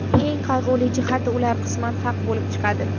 Eng qayg‘uli jihati, ular qisman haq bo‘lib chiqadi.